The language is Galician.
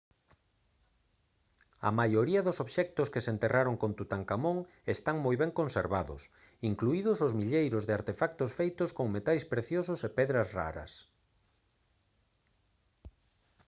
a maioría dos obxectos que se enterraron con tutankamón están moi ben conservados incluídos os milleiros de artefactos feitos con metais preciosos e pedras raras